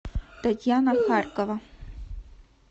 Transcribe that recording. татьяна харькова